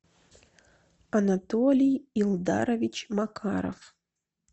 анатолий илдарович макаров